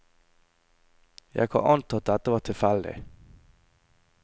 Jeg kan anta at dette var tilfeldig.